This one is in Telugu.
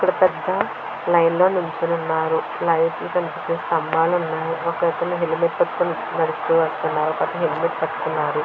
ఇక్కడ పెద్ధ లైన్లో నిల్చుని ఉన్నారు ఒకతను లైట్ స్తంభాలు ఉన్నాయి ఒకతను హెల్మెట్ పెట్టుకుని నిల్చున్నాడు అతని పక్కతను హెల్మెట్ పెట్టుకున్నారు.